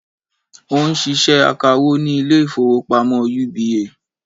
Ó n ṣiṣẹ́ akawó ní Ilé ìfowópamọ́ UBA